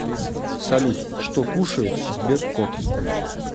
салют что кушает сберкот